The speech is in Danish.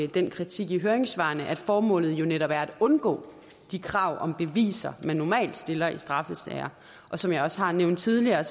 den kritik i høringssvarene at formålet jo netop er at undgå de krav om beviser man normalt stiller i straffesager som jeg også har nævnt tidligere